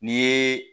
N'i yeee